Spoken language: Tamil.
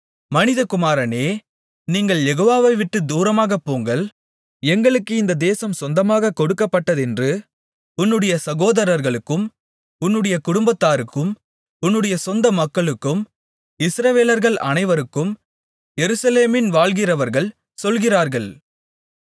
மனிதகுமாரனே நீங்கள் யெகோவாவைவிட்டுத் தூரமாகப்போங்கள் எங்களுக்கு இந்த தேசம் சொந்தமாகக் கொடுக்கப்பட்டதென்று உன்னுடைய சகோதரர்களுக்கும் உன்னுடைய குடும்பத்தாருக்கும் உன்னுடைய சொந்த மக்களுக்கும் இஸ்ரவேலர்கள் அனைவருக்கும் எருசலேமின் வாழ்கிறவர்கள் சொல்லுகிறார்கள்